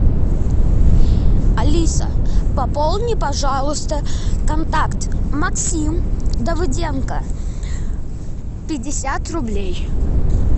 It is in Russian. алиса пополни пожалуйста контакт максим давыденко пятьдесят рублей